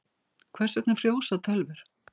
Hvers vegna frjósa tölvur?